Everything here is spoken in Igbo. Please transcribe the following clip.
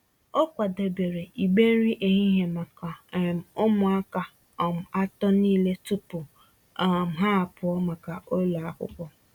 O kwadebere igbe nri ehihie maka um ụmụaka um atọ niile tupu um ha apụọ maka ụlọ akwụkwọ.